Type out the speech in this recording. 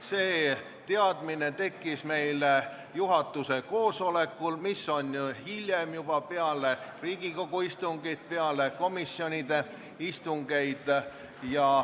See teadmine tekkis juhatuse koosolekul, mis toimub peale Riigikogu istungit ja peale komisjonide istungeid.